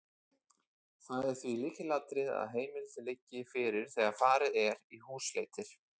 Það er því lykilatriði að heimild liggi fyrir þegar farið er í húsleitir.